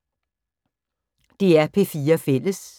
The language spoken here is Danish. DR P4 Fælles